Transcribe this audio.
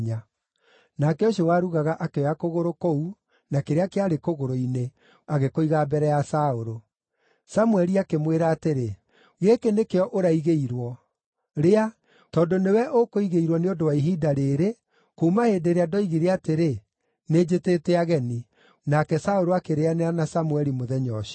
Nake ũcio warugaga akĩoya kũgũrũ kũu na kĩrĩa kĩarĩ kũgũrũ-inĩ, agĩkũiga mbere ya Saũlũ. Samũeli akĩmwĩra atĩrĩ, “Gĩkĩ nĩkĩo ũraigĩirwo. Rĩa, tondũ nĩwe ũkũigĩirwo nĩ ũndũ wa ihinda rĩĩrĩ, kuuma hĩndĩ ĩrĩa ndoigire atĩrĩ, ‘Nĩnjĩtĩte ageni.’ ” Nake Saũlũ akĩrĩĩanĩra na Samũeli mũthenya ũcio.